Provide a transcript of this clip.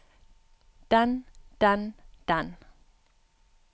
den den den